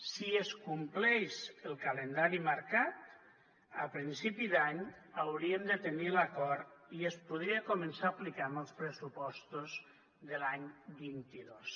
si es compleix el calendari marcat a principi d’any hauríem de tenir l’acord i es podria començar a aplicar amb els pressupostos de l’any vint dos